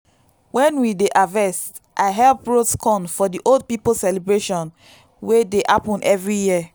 when we dey harvest i help roast corn for the old people celebration wey dey happen every year.